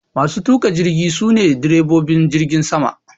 Masu tuka jirgi sune direbobin jirgin sama